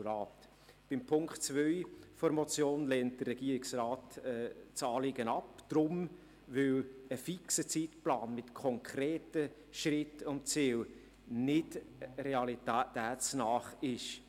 Das in Punkt 2 der Motion formulierte Anliegen lehnt der Regierungsrat ab, weil ein fixer Zeitplan mit konkreten Schritten und Zielen nicht realitätsnah ist.